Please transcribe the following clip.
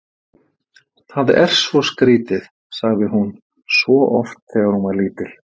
Það er svo skrítið, sagði hún svo oft þegar hún var lítil.